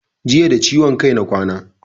Jiya da ciwon kai na kwana